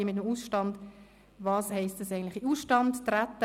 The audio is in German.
Was heisst eigentlich «in den Ausstand treten»?